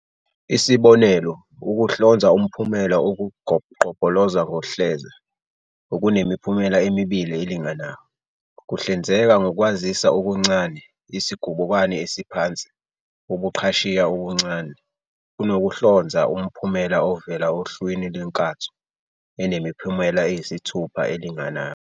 Isibonelo, ukuhlonza umphumela okugobqoloza kohleza, okunemiphumela emibili elinganayo, kuhlinzeka ngokwaziswa okuncane, isigubukani esiphansi, ubuqhashiya obuncane, kunokuhlonza umphumela ovela ohlwini lwenkatho, enemiphumela eyisithupha elinganayo.